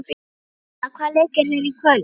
Ólafína, hvaða leikir eru í kvöld?